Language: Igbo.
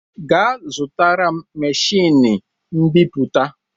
Gaa zụtara m machiini mbiputa!